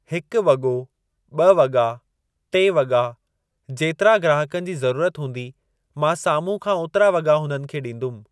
हिकु वॻो, ॿ वॻा, टे वॻा, जेतिरा ग्राहकनि जी ज़रूरत हूंदी, मां साम्हूं खां ओतिरा वॻा हुन खे ॾींदुमि।